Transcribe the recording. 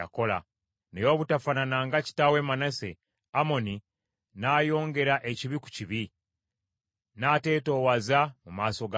Naye obutafaanana nga kitaawe Manase, Amoni n’ayongera ekibi ku kibi, n’ateetoowaza mu maaso ga Mukama .